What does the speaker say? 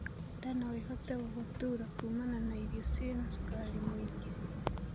Ndaa noĩhote gugutuura kumana na irio ciĩna cukari mũingĩ